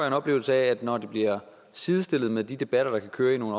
en oplevelse af at når det bliver sidestillet med de debatter der kan køre i nogle